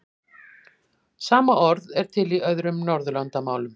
Sama orð er til í öðrum Norðurlandamálum.